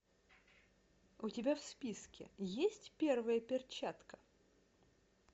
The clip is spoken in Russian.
у тебя в списке есть первая перчатка